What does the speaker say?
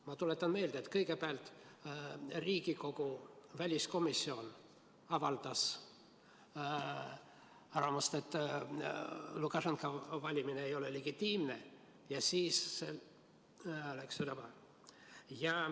Ma tuletan meelde, et kõigepealt avaldas Riigikogu väliskomisjon arvamust, et Lukašenka valimine ei ole legitiimne, ja siis läks see üle maailma.